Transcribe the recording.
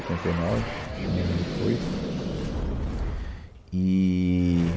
e nove, acho que um ano depois. Eee